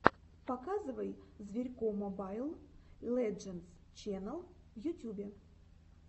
показывай зверько мобайл лэджендс ченнал в ютюбе